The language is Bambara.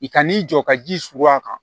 I kan'i jɔ ka ji suuru a kan